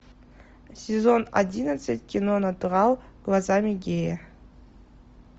сезон одиннадцать кино натурал глазами гея